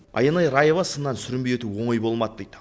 аянай раева сыннан сүрінбей өту оңай болмады дейді